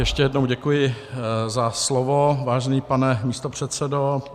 Ještě jednou děkuji za slovo, vážený pane místopředsedo.